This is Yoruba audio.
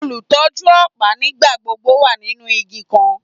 Olutọju ọpa nigbagbogbo wa ninu igi kan